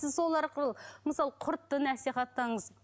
сіз сол арқылы мысалы құртты насихаттаңыз